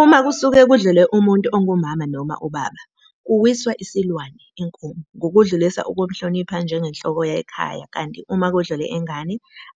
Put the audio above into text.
Uma kusuke kudlule umuntu ongu Mama noma uBaba kuwiswa isilwane, inkomo, ngokudlulisa ukumhlonipha njenge nhloko yekhaya kanti uma kudlule ingane